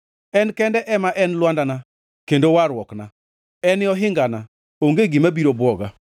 En kende ema en lwandana kendo warruokna; en e ohingana, onge gima biro bwoga.